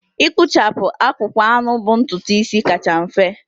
Ịkpụcha akpụkpọ anụ bụ ntutu isi kacha mfe.